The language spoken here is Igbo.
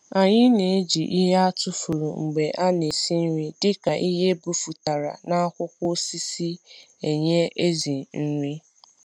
anyị n’eji ịhe etufuru mgbe ana esi nri dịka ịhe ebefụtara na akwụkwọ osisi enye ểzỉ nri